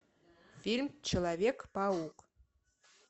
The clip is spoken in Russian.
фильм человек паук